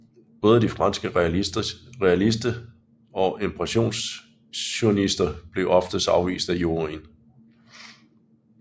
Både de franske realister og impressionister blev oftest afvist af juryen